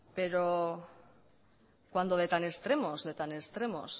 pero cuando de tan extremos